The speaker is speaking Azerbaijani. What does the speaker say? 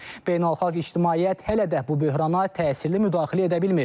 Beynəlxalq ictimaiyyət hələ də bu böhrana təsirli müdaxilə edə bilmir.